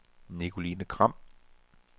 Nicoline Gram